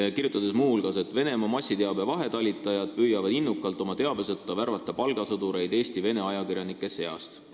Ta kirjutab muu hulgas, et Venemaa massiteabe vahetalitajad püüavad innukalt värvata oma teabesõtta palgasõdureid Eesti vene ajakirjanike seast.